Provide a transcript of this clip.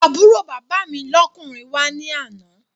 Àbúrò bàbá mi lọ́kùnrin wá ní àná